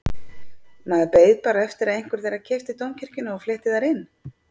Maður beið bara eftir að einhver þeirra keypti Dómkirkjuna og flytti þar inn.